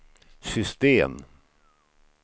system